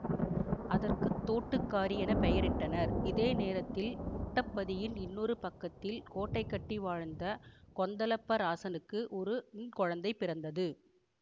அதற்கு தோட்டுக்காரி என பெயரிட்டனர் இதே நேரத்தில் முட்டப்பதியின் இன்னொரு பக்கத்தில் கோட்டை கட்டி வாழ்ந்த கொந்தளப்பராசனுக்கு ஒரு ண் குழந்தை பிறந்தது